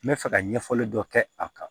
N bɛ fɛ ka ɲɛfɔli dɔ kɛ a kan